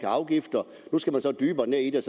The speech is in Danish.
af afgifter nu skal man så dybere ned i det